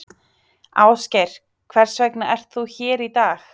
Ásgeir: Hvers vegna ert þú hér í dag?